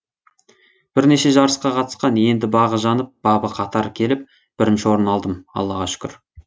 бірнеше жарысқа қатысқан енді бағы жанып бабы қатар келіп бірінші орын алдым аллаға шүкір